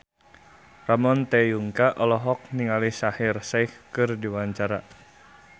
Ramon T. Yungka olohok ningali Shaheer Sheikh keur diwawancara